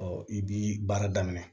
i b'i baara daminɛ